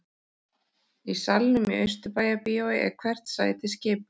Í salnum í Austurbæjarbíói er hvert sæti skipað.